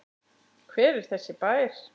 Hver er þessi bær?